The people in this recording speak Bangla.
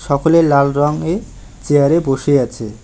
সকলে লাল রঙে এ চেয়ারে বসে আছে।